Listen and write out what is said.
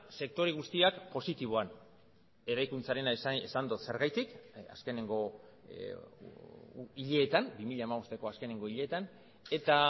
sektore guztiak positiboan eraikuntzarena esan dut zergatik azkeneko hileetan bi mila hamabosteko azkeneko hileetan eta